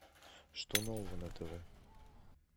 что нового на тв